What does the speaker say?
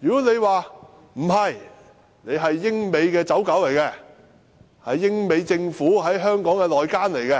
如果他們認為我們是英美的"走狗"、英美政府在香港的內奸，便請